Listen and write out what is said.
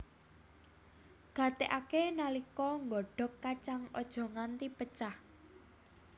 Gatékaké nalika nggodhog kacang aja nganti pecah